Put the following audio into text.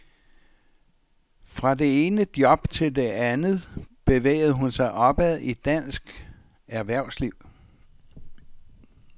Fra det ene job til det andet bevægede hun sig opad i dansk erhvervsliv.